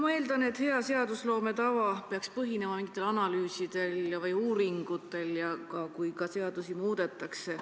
Ma eeldan, et hea seadusloome tava peaks põhinema mingitel analüüsidel või uuringutel, ka siis, kui seadusi muudetakse.